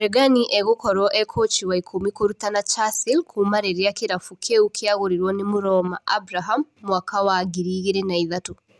Regani egũkorwo e-kũci wa ikũmi kũrutana Chasile kuuma rĩrĩ kĩrabu kĩu kĩagũrirwo nĩ Mũroma Abraham mwaka wa ngirĩ igĩrĩ na ithatũ.